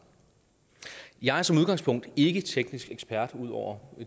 jeg er som udgangspunkt ikke teknisk ekspert ud over